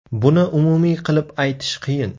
Buni umumiy qilib aytish qiyin.